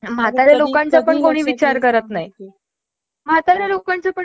आपल्यासारख्या व्यक्तींना त्रास होतो , विचार कर ओल्ड एजेंड व्यक्तींचं काय